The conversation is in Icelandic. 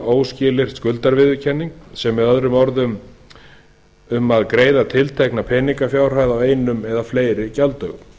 og óskilyrt skuldarviðurkenning með öðrum orðum loforð um að greiða tiltekna peningafjárhæð á einum eða fleiri gjalddögum